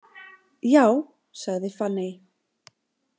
Já, sagði Fanney.